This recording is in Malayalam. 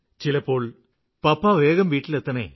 ചിലപ്പോള് പപ്പാ വേഗം വീട്ടിലെത്തണം